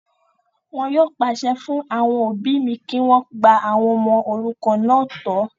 Wọn yóò pàṣẹ fún àwọn òbí mi kí wọ́n gba àwọn ọmọ òrukàn náà tọ́